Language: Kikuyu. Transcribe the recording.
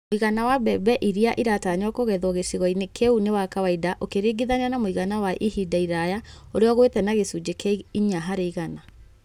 Mũigana wa mbembe iria iratanywo kũgethwo gĩcigo-inĩ kĩu nĩ wa kawaida ũkiringithania na mũigana wa ihinda iraya ũrĩa ũgũĩte na gĩcunjĩ kĩa inya harĩ igana.